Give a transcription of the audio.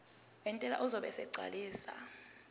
wentela uzobe esegcwalisa